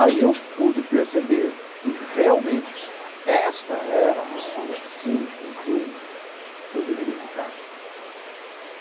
Aí eu pude perceber que realmente esta era a pessoa, sim, com quem eu deveria ficar.